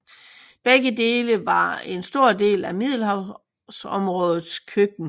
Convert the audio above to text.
Begge dele var en stor del af middelhavområdets køkken